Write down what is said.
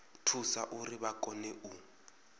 thusa uri vha kone u